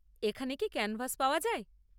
এখানে কি ক্যানভাস পাওয়া যায়?